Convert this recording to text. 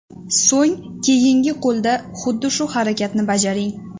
So‘ng keyingi qo‘lda xuddi shu harakatni bajaring.